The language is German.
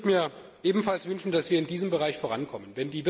Ich würde mir ebenfalls wünschen, dass wir in diesem Bereich vorankommen.